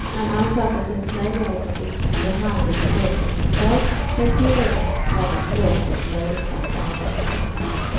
Han anser att det finns möjligheter till behandling med gott resultat, men tillägger att det kräver ett långt och mödosamt arbete.